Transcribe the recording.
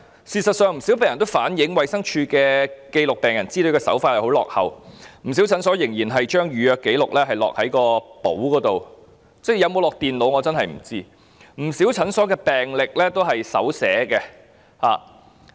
事實上，不少病人均反映衞生署記錄病人資料的手法落後，不少診所仍然將預約紀錄填在實體的登記冊上，我也不知道資料有否存入電腦，更有不少診所的病歷仍然是手寫的。